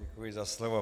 Děkuji za slovo.